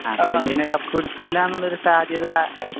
Argentina കപ്പെടുക്കൂല എന്നൊരു സാധ്യത